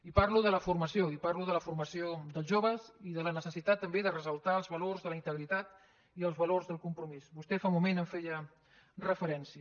i parlo de la formació i parlo de la formació dels joves i de la necessitat també de ressaltar els valors de la integritat i els valors del compromís vostè fa un moment hi feia referència